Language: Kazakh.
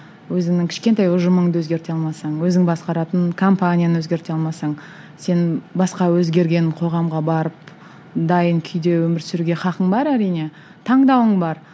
өзіңнің кішкентай ұжымыңды өзгерте алмасаң өзің басқаратын компанияны өзгерте алмасаң сен басқа өзгерген қоғамға барып дайын күйде өмір сүруге хақың бар әрине таңдауың бар